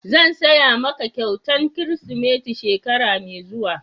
Zan siya ma ka kyautan kirisimeti shekara mai zuwa.